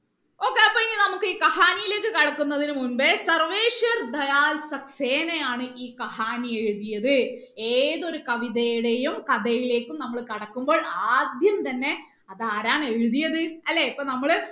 okay അപ്പൊ ഇനി നമുക്ക് ഈ കഹാനിയിലേക്ക് കടക്കുന്നതിന് മുമ്പേ സർവേശ്വർ ദയാൽ സക്സേന ആണ് ഈ കഹാനി എഴുതിയത് ഏതൊരു കവിതയുടെയും കഥയിലേക്കും നമ്മൾ കടക്കുമ്പോൾ ആദ്യം തന്നെ അത് ആരാണ് എഴുതിയത് അല്ലെ അപ്പൊ നമ്മള്